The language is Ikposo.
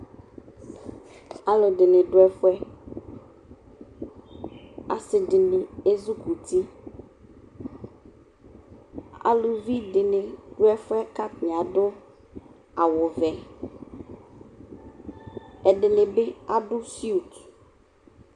alʋdinidu ɛfʋɛ asidini ʒzʋkʋti alʋvidini dʋɛfʋɛ katani adʋ awʋvɛ ɛdinibi adʋ NA